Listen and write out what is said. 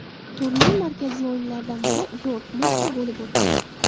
Turning markaziy o‘yinlaridan biri Dortmundda bo‘lib o‘tdi.